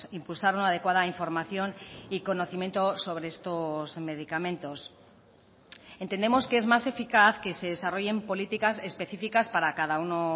impulsar una adecuada información y conocimiento sobre estos medicamentos entendemos que es más eficaz que se desarrollen políticas específicas para cada uno